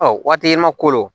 Ɔ waati ma kolon